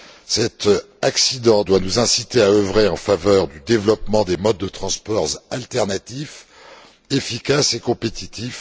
Cet accident doit nous inciter à œuvrer en faveur du développement des modes de transport alternatifs, efficaces et compétitifs.